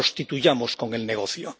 no la prostituyamos con el negocio.